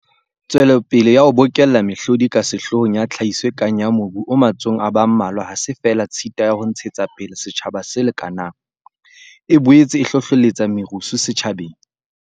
Tswelopele ya ho bokella mehlodi e ka sehloohong ya tlhahiso e kang ya mobu o matsohong a ba mmalwa ha se feela tshita ya ho ntshe tsapele setjhaba se lekanang, e boetse e hlohlelletsa merusu setjhabeng.